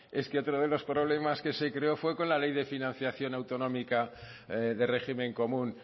es que otro de los problemas que se creó fue con la ley de financiación autonómica de régimen común